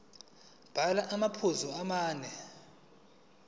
bhala amaphuzu amane